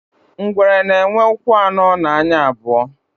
ngwere na enwe ụkwụ ano na anya abuo